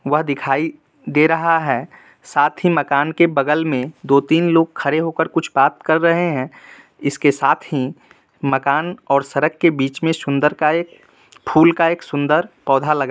वह दिखाई दे रहा है साथ ही मकान के बगल में दो-तीन लोग खड़े होकर कुछ बात कर रहे है इसके साथ ही मकान और सड़क के बीच में सुन्दर का एक फूल का एक सुन्दर पौधा लगा--